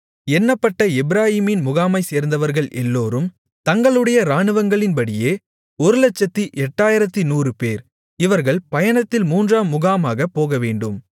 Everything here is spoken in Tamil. எண்ணப்பட்ட எப்பிராயீமின் முகாமைச்சேர்ந்தவர்கள் எல்லோரும் தங்களுடைய இராணுவங்களின்படியே 108100 பேர் இவர்கள் பயணத்தில் மூன்றாம் முகாமாகப் போகவேண்டும்